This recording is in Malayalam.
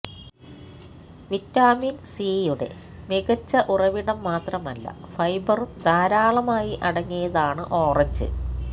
വിറ്റാമിന് സിയുടെ മികച്ച ഉറവിടം മാത്രമല്ല ഫൈബറും ധാരാളമായി അടങ്ങിയതാണ് ഓറഞ്ച്